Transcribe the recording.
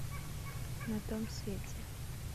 на том свете